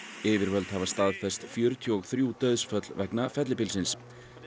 yfirvöld hafa staðfest fjörutíu og þrjú dauðsföll vegna fellibylsins